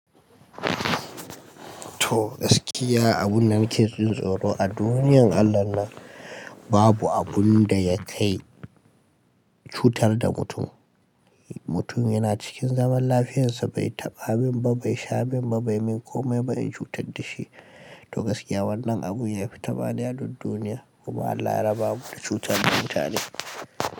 Toh gaskiya abun na ke jin tsoro a duniyar Allah nan babu abun da ya kai cutar da mutum. Mutum yana cikin zaman lafiyansa bai taɓa min ba, bai sha min ba, bai min komai ba in cutar da shi. Toh gaskiya wannan abun ya fi taɓaɗiya duk duniya kuma Allah ya raba mu da cutar da mutane.